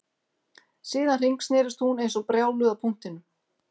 Síðan hringsnerist hún eins og brjáluð á punktinum